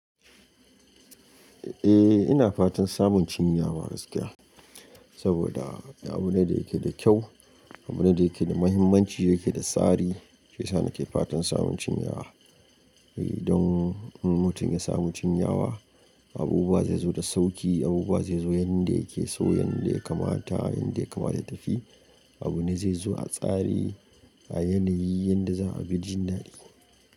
Eh ina fatan samun cinyawa gaskiya, saboda abu ne da yake da kyau, abu ne da yake da muhimmanci, yake da tsari. Hiyasa na ke fatan samun cinyawa. Eh don in mutum ya samu cinyawa, abubuwa zai zo da sauƙi, abubuwa zai zo yanda yake so, yanda ya kamata, yanda ya kamata ya tafi. Abu ne zai zo a tsari, a yanayi yanda za a fi jin daɗi.